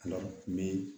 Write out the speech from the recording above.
Ala